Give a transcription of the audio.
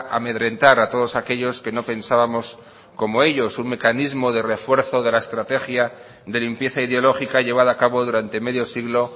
amedrentar a todos aquellos que no pensábamos como ellos un mecanismo de refuerzo de la estrategia de limpieza ideológica llevada a cabo durante medio siglo